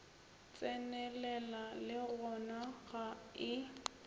tsenelela le gona ga e